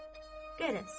Qərəz.